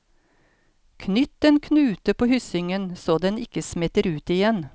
Knytt en knute på hyssingen så den ikke smetter ut igjen.